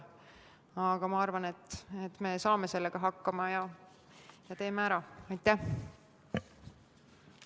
Aga ma arvan, et me saame sellega hakkama ja teeme selle ära.